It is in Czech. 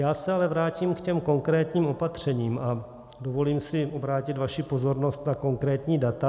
Já se ale vrátím k těm konkrétním opatřením a dovolím si obrátit vaši pozornost na konkrétní data.